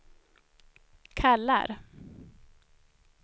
kallar